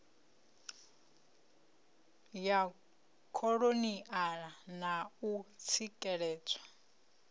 ya kholoniala na u tsikeledzwa